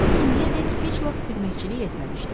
Nensi indiyədək heç vaxt xidmətçilik etməmişdi.